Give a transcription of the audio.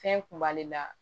Fɛn kun b'ale la